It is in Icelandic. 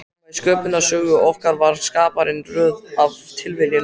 Nema í Sköpunarsögu okkar var Skaparinn röð af tilviljunum.